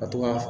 Ka to ka